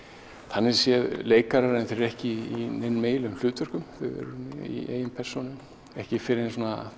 þannig séð leikarar en þau eru ekki í neinum eiginlegum hlutverkum þau eru í eigin persónu ekki fyrr en